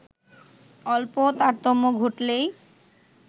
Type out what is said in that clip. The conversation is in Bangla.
অল্প তারতম্য ঘটলেই